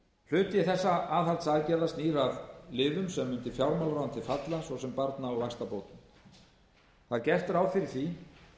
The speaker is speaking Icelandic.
hluti þessara aðhaldsaðgerða snýr að liðum sem undir fjármálaráðuneytið falla svo sem barna og vaxtabætur það er gert ráð fyrir því